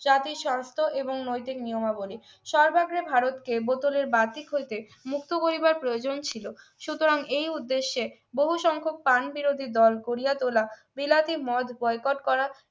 জাতিসংস্থা এবং নৈতিক নিয়মাবলী সর্বাগ্রে ভারতকে বোতলের বাহ্যিক হইতে মুক্ত হইবার প্রয়োজন ছিল সুতরাং এই উদ্দেশ্যে বহু সংখ্যক কান বিরোধী দল গড়িয়া তোলার বিলাতি মদ বয়কট করা